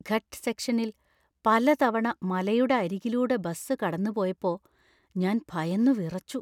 ഘട്ട് സെക്ഷനിൽ പലതവണ മലയുടെ അരികിലൂടെ ബസ് കടന്നുപോയപ്പോ ഞാൻ ഭയന്നുവിറച്ചു.